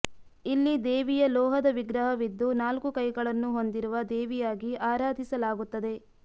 ಇಲ್ಲಿ ದೇವಿಯ ಲೋಹದ ವಿಗ್ರಹವಿದ್ದು ನಾಲ್ಕು ಕೈಗಳನ್ನು ಹೊಂದಿರುವ ದೇವಿಯಾಗಿ ಆರಾಧಿಸಲಾಗುತ್ತದೆ